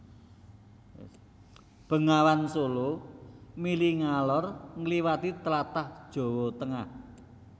Bengawan Sala mili ngalor ngliwati tlatah Jawa Tengah